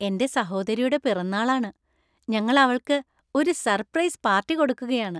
എന്‍റെ സഹോദരിയുടെ പിറന്നാളാണ്. ഞങ്ങൾ അവൾക്ക് ഒരു സർപ്രൈസ് പാർട്ടി കൊടുക്കുകയാണ്.